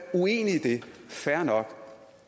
fair nok